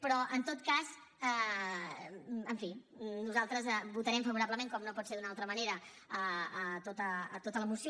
però en tot cas en fi nosaltres votarem favorablement com no pot ser d’una altra manera tota la moció